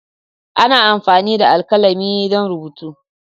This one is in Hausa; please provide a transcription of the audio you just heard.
Ana amfani da alkalami don rubutu.